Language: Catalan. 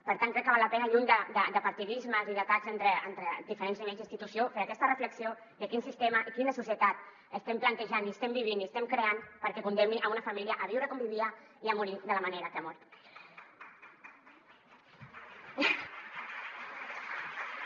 per tant crec que val la pena lluny de partidismes i d’atacs entre diferents nivells d’institució fer aquesta reflexió de quin sistema i quina societat estem plantejant i estem vivint i estem creant perquè es condemni una família a viure com vivia i a morir de la manera que ha mort